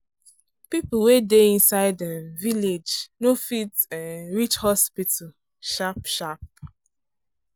people wey dey inside um village no dey fit um reach hospital sharp-sharp.